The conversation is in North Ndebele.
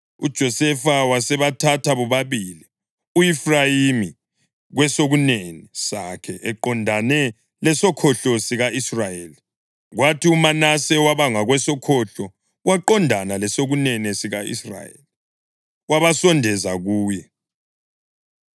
UJosefa wasebathatha bobabili, u-Efrayimi kwesokunene sakhe eqondane lesokhohlo sika-Israyeli, kwathi uManase waba ngakwesokhohlo waqondana lesokunene sika-Israyeli, wabasondeza kuye.